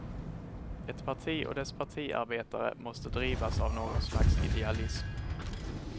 Ett parti och dess partiarbetare måste drivas av någon slags idealism.